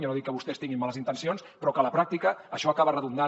jo no dic que vostès tinguin males intencions però que a la pràctica això acaba redundant